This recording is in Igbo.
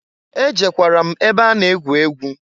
E jekwara m ebe a na egwu egwu.